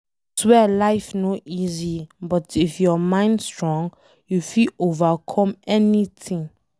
Aswear life no easy but if your mind strong, you fit overcome anything